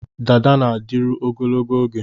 Dada na-adịru ogologo oge